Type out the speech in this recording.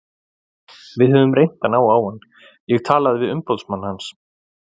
Við höfum reynt að ná á hann, ég talaði við umboðsmann hans.